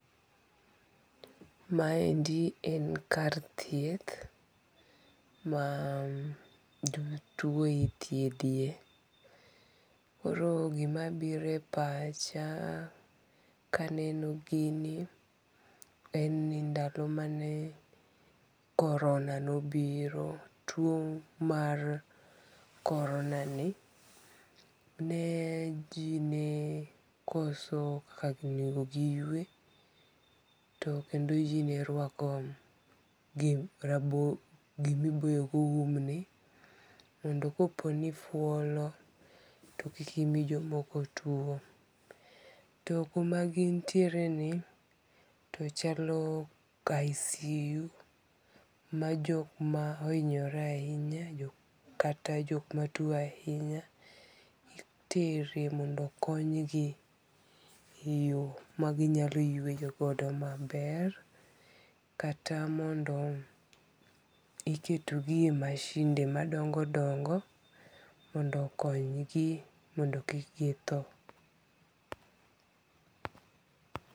Maendi en kar thieth, ma jomatuo ithiethie, koro gima biro e pacha kaneno ginie en ni ndalo mane coraona nobiro, two mar coronani ne ji ne koso kaka onego giywe to kendo ji ne rwako gima iboyogo umni mondo koponi ifuolo to kik imi jomoko tuo, to koma gintiereni to chalo icu ma jok ma ohinyore ahinya kata jok matuo ahinya itere mondo okonygi e yo ma ginyalo yweyo godo maber, kata mondo iketogie e machinde madongo' dongo' mondo konygie mondo kik githo.